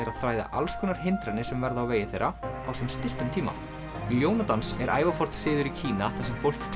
að þræða alls konar hindranir sem verða á vegi þeirra á sem stystum tíma ljónadans er ævaforn siður í Kína þar sem fólk